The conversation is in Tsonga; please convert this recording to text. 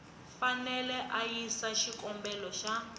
fanele a yisa xikombelo xa